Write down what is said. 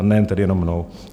A nejen tedy jenom mnou.